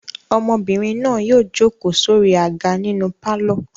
Ọmọbìnrin náà yóò jókòó sórí àga nínú pálọ̀.